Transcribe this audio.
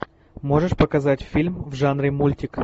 можешь показать фильм в жанре мультик